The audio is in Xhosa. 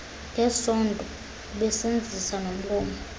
ngesondo usebenzisa nomlomo